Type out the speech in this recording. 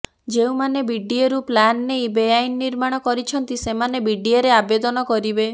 ଯେଉଁମାନେ ବିଡିଏରୁ ପ୍ଲାନ୍ ନେଇ ବେଆଇନ ନିର୍ମାଣ କରିଛନ୍ତି ସେମାନେ ବିଡିଏରେ ଆବେଦନ କରିବେ